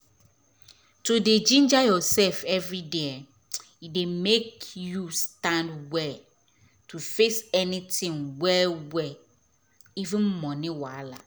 to dey ginger ursef everyday dey make you stand well to face anytin well well even moni wahala